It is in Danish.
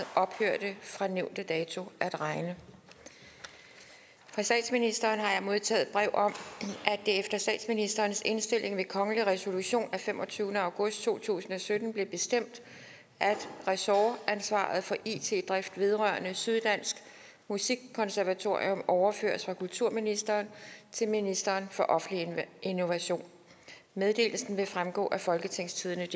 ophørte fra nævnte dato at regne fra statsministeren har jeg modtaget brev om at det efter statsministerens indstilling ved kongelig resolution af femogtyvende august to tusind og sytten blev bestemt at ressortansvaret for it drift vedrørende syddansk musikkonservatorium overføres fra kulturministeren til ministeren for offentlig innovation meddelelsen vil fremgå af folketingstidendedk